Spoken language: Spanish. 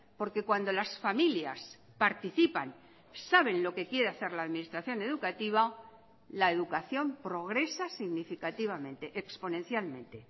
porque cuando las familias participan saben lo que quiere hacer la administración educativa la educación progresa significativamente exponencialmente